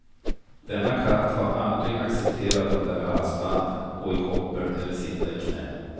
Denna katt har aldrig accepterat att bära halsband, gå i koppel eller sitta i knä.